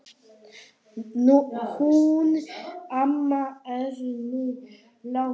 Hún amma er nú látin.